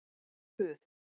Það er puð.